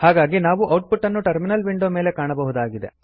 ಹಾಗಾಗಿ ನಾವು output ಅನ್ನು ಟರ್ಮಿನಲ್ ವಿಂಡೋ ನ ಮೇಲೆ ಕಾಣಬಹುದಾಗಿದೆ